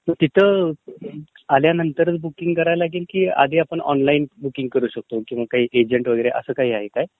तिथं आल्यावरती बुकींग कराव लागेल की आधी आपण ऑनलाइन बुकींग करू शकतो किंवा एजंटवगैरे असं काही आहे काय?